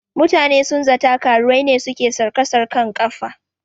Mutane sun zata karuwai ne suke sarka sarƙan kafa